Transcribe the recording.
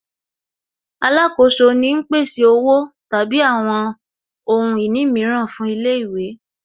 Alákoso ni ń pèsè Owó tàbí àwọn ohun ìní mìíràn fún ilé ìwé